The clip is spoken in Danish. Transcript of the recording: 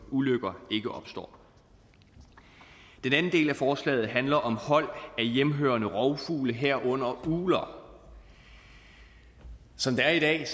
ulykker ikke opstår den anden del af forslaget handler om hold af hjemmehørende rovfugle herunder ugler som det er i dag er